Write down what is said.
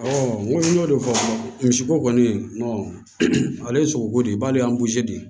n ko n y'o de fɔ misiko kɔni ale ye sogo de b'ale de